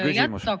Palun küsimus!